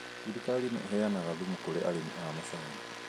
Thirikari nĩ ĩheanaga thumu kũrĩ arĩmi a macani.